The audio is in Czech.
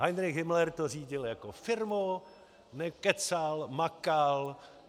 Heinrich Himmler to řídil jako firmu, nekecal, makal.